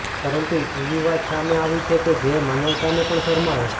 પરંતુ એવી વાત સામે આવી છે કે જે માનવતાને પણ શરમાવે